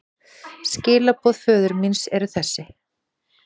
Skilaboð föður míns eru þessi.